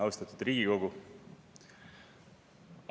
Austatud Riigikogu!